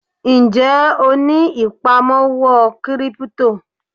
Ń jẹ́ ó ní ìpamọ́ owó kírípítò?